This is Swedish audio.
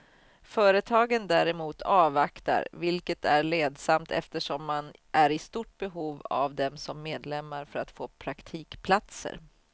Företagen däremot avvaktar, vilket är ledsamt eftersom man är i stort behov av dem som medlemmar för att få praktikplatser.